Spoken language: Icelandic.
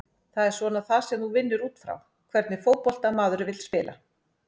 Það er svona það sem þú vinnur útfrá, hvernig fótbolta maður vill spila?